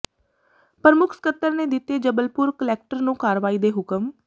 ਪ੍ਰਮੁੱਖ ਸਕੱਤਰ ਨੇ ਦਿੱਤੇ ਜਬਲਪੁਰ ਕੁਲੈਕਟਰ ਨੂੰ ਕਾਰਵਾਈ ਦੇ ਹੁਕਮ